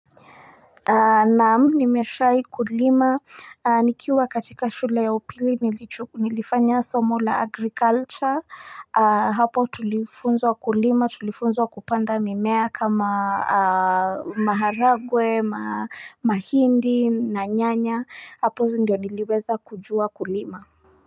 Naam, nimeshai kulima nikiwa katika shule ya upili nilifanya somo la agriculture hapo tulifunzwa kulima tulifunzwa kupanda mimea kama maharagwe, mahindi na nyanya hapo ndio niliweza kujua kulima.